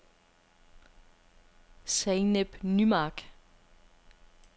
Zeynep Nymark